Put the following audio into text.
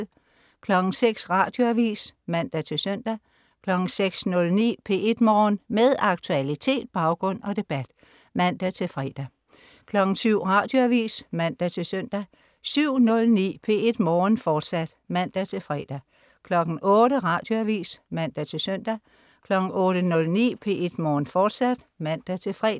06.00 Radioavis (man-søn) 06.09 P1 Morgen. Med aktualitet, baggrund og debat (man-fre) 07.00 Radioavis (man-søn) 07.09 P1 Morgen, fortsat (man-fre) 08.00 Radioavis (man-søn) 08.09 P1 Morgen, fortsat (man-fre)